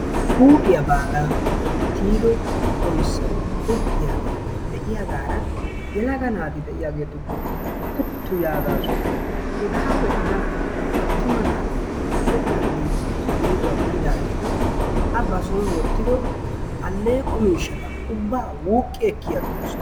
Huuphphiyaa baagaa tiyido oyssay goggiyaagee de'iyaara yelaga naati de'iyaagetuko puttu yaagasu. Hegaa be'ida attuma naati o kaalliidi i geeduwaa biidaageti a ba soon woottido aleeqqo miishshata ubbaa wuuqi ekki agidoosona.